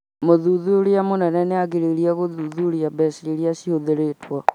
Mũthuthuria mũnene nĩ agĩrĩirũo gũthuthuria mbeca iria ihũthirĩtwo